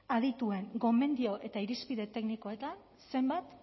adituen gomendio eta irizpide teknikoetan zenbat